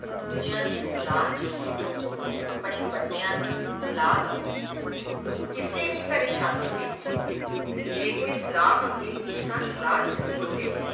ਦੂਜਿਆਂ ਦੀ ਸਾਲਾਹ ਜ਼ਰੂਰ ਲਵੋ, ਆਪਣੇ ਵੱਡਿਆਂ ਦੀ ਸਲਾਹ ਲਓ ਕਿਸੇ ਵੀ ਪ੍ਰੇਸ਼ਾਨੀ ਵਿੱਚ ਜੇ ਕੋਈ ਸਲਾਹ ਮੰਗੇ ਤਾਂ ਸਲਾਹ ਜ਼ਰੂਰ ਦਿਓ,